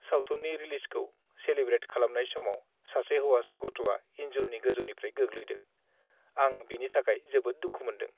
सावथुननि रिलिजखौ सेलेब्रेट खालामनाय समाव सासे हौवासा गथ'आ इनजुरनि गोजौनिफ्राय गोग्लैदों। आं बिनि थाखाय जोबोद दुखु मोनदों।